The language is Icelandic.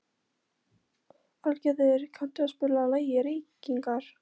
Aðalgeir, kanntu að spila lagið „Reykingar“?